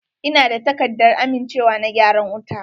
Ina da takardar amincewa na gyaran wuta.